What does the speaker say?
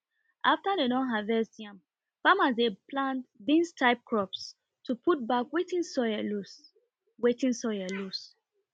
after dem don harvest yam farmers dey plant beans type crops to put back wetin soil lose wetin soil lose